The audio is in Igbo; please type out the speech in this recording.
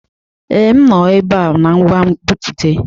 Ee, m nọ ebe a na ngwa nbipute.